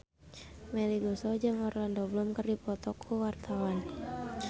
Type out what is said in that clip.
Melly Goeslaw jeung Orlando Bloom keur dipoto ku wartawan